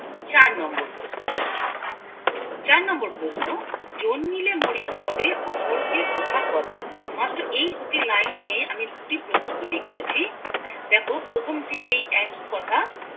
চার নাম্বার প্রশ্নে চার নাম্বার প্রশ্ন জন্মিলে মরিতে হবে অমর কথা কবে কথা কবে মাত্র দুটি লাইন নিয়ে আমি দুটি প্রশ্ন তৈরী করেছি দ্যাখো প্ৰথমটি সেই একই কথা